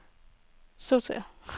sortér